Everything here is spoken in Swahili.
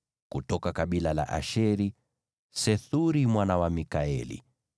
kutoka kabila la Asheri, Sethuri mwana wa Mikaeli;